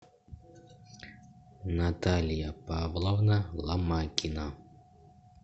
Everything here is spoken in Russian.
наталья павловна ломакина